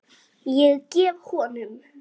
Ég gef honum